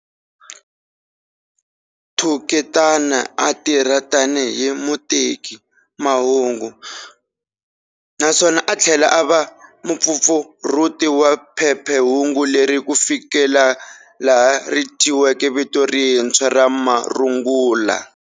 Thuketana a a tirha tani hi mutekimahungu naswona a thlela ava mupfapfarhuti wa phephehungu leri, kufikela laha rithyiweke vito rintshwa ra"Marungula".